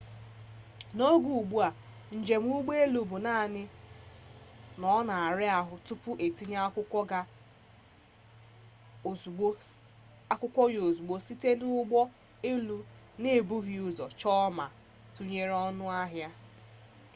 n'oge ugbu a njem ụgbọ elu bụ naanị na ọ na-ara ahụ tupu e tinye akwụkwọ ya ozugbo site na ndị ụgbọ elu na-ebughị ụzọ chọọ ma tụnyere ọnụ ahịa